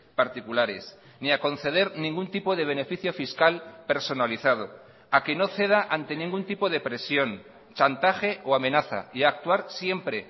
particulares ni a conceder ningún tipo de beneficio fiscal personalizado a que no ceda ante ningún tipo de presión chantaje o amenaza y actuar siempre